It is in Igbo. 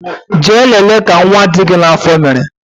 Jee lele ka nwa dị gị n'afọ mere